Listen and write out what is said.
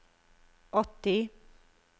åtti